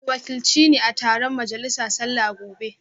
Ku wakilci ni a taron majalisa sallah gobe